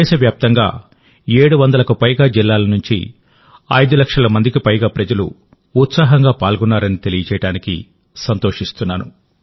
దేశవ్యాప్తంగా 700లకు పైగా జిల్లాల నుంచి 5 లక్షల మందికి పైగా ప్రజలు ఉత్సాహంగా పాల్గొన్నారని తెలియజేయడానికి సంతోషిస్తున్నాను